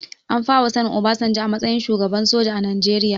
An fara sanin obasanjo a matsayin shugaba soja a najeria